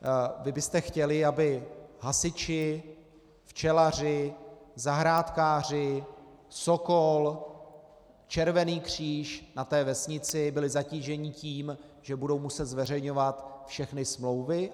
Vy byste chtěli, aby hasiči, včelaři, zahrádkáři, Sokol, Červený kříž na té vesnici byli zatíženi tím, že budou muset zveřejňovat všechny smlouvy?